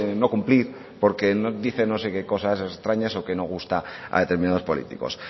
no cumplir porque dice no sé qué cosas extrañas o que no gusta a determinados políticos